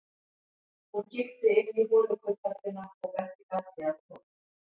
Hún kíkti inn í holukubbhöllina og benti Galdri að koma.